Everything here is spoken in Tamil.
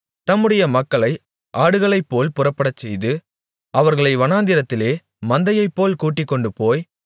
தம்முடைய மக்களை ஆடுகளைப்போல் புறப்படச்செய்து அவர்களை வனாந்திரத்திலே மந்தையைப்போல் கூட்டிக்கொண்டுபோய்